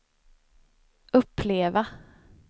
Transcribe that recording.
uppleva